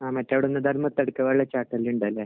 ഉണ്ടല്ലേ.